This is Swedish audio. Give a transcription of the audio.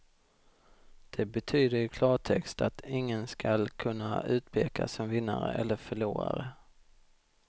Det betyder i klartext att ingen skall kunna utpekas som vinnare eller förlorare.